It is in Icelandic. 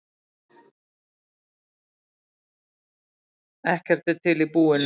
Ekkert er til í búinu.